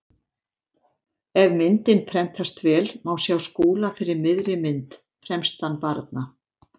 Ef myndin prentast vel má sjá Skúla fyrir miðri mynd, fremstan barna.